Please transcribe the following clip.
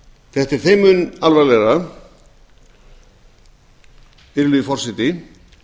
þetta er þeim mun alvarlegra virðulegi forseti